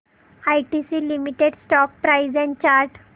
ITC limited stock price and chart